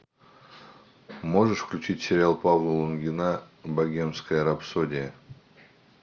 можешь включить сериал павла лунгина богемская рапсодия